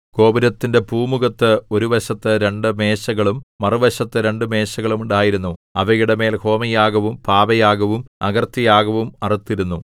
ഗോപുരത്തിന്റെ പൂമുഖത്ത് ഒരു വശത്ത് രണ്ടു മേശകളും മറുവശത്ത് രണ്ടു മേശകളും ഉണ്ടായിരുന്നു അവയുടെമേൽ ഹോമയാഗവും പാപയാഗവും അകൃത്യയാഗവും അറുത്തിരുന്നു